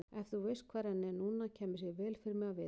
Ef þú veist hvar hann er núna kæmi sér vel fyrir mig að vita það.